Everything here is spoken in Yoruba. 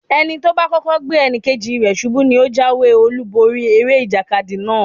Ẹni tí ó bá kọ́kọ́ gbé ẹnì kejì rẹ̀ ṣubú ní ó jáwé-olúborí eré ìjàkadì náà.